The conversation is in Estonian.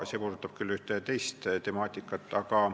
See puudutab küll teist temaatikat.